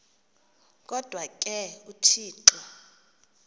kodwa ke uthixo